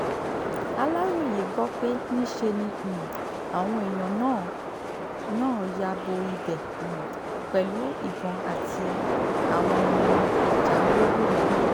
aláròye gbọ́ pé níṣe ni um àwọn èèyàn náà náà ya bo ibẹ̀ um pẹ̀lú ìbọn àti àwọn ohun ìjà olóró mí-ín